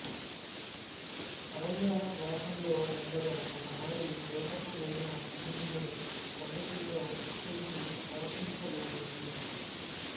అరణ్యవాసంలో ఉండగా ఒకనాడు వేటకువెళ్ళిన భీముని కొండచిలువ చుట్టేసి భక్షించబోయింది